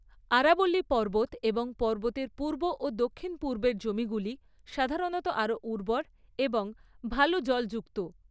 আরাবল্লী পর্বত এবং পর্বতের পূর্ব ও দক্ষিণ পূর্বের জমিগুলি সাধারণত আরও উর্বর এবং ভাল জলযুক্ত।